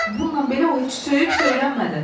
Bununla belə o heç söyüb söylənmədi.